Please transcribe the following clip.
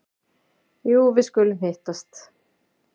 Jú, við skulum hittast.